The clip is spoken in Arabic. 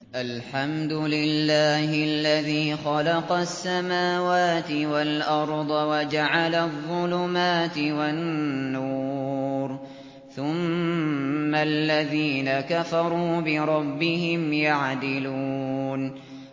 الْحَمْدُ لِلَّهِ الَّذِي خَلَقَ السَّمَاوَاتِ وَالْأَرْضَ وَجَعَلَ الظُّلُمَاتِ وَالنُّورَ ۖ ثُمَّ الَّذِينَ كَفَرُوا بِرَبِّهِمْ يَعْدِلُونَ